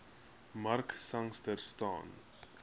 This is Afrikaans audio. mark sangster staan